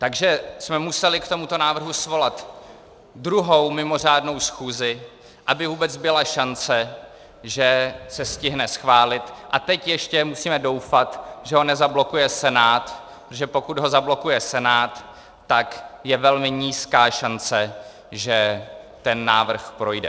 Takže jsme museli k tomuto návrhu svolat druhou mimořádnou schůzi, aby vůbec byla šance, že se stihne schválit, a teď ještě musíme doufat, že ho nezablokuje Senát, protože pokud ho zablokuje Senát, tak je velmi nízká šance, že ten návrh projde.